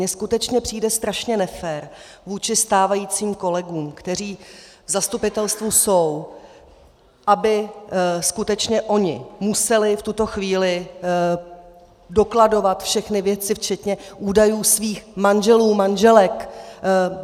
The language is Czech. Mně skutečně přijde strašně nefér vůči stávajícím kolegům, kteří v zastupitelstvu jsou, aby skutečně oni museli v tuto chvíli dokladovat všechny věci, včetně údajů svých manželů, manželek.